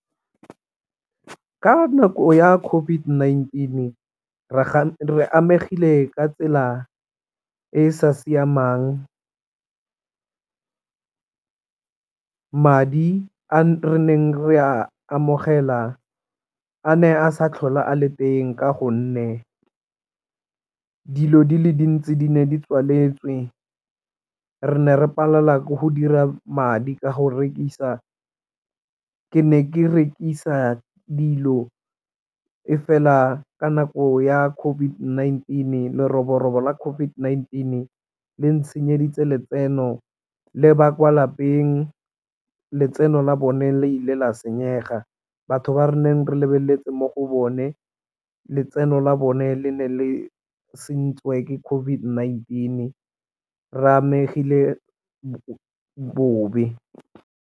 Ka nako ya COVID-19 re amegile ka tsela e e sa siamang, madi a re neng re a amogela a ne a sa tlhole a le teng ka gonne dilo di le dintsi di ne di tswaletswe re ne re palelwa ke go dira madi ka go rekisa. Ke ne ke rekisa dilo e fela ka nako ya COVID-19 leroborobo la COVID-19 le ntshenyeditse letseno le ba kwa lapeng letseno la bone la ile la senyega batho ba re neng re lebeletse mo go bone letseno la bone le ne le sentsweng COVID-19 re amegile bobe.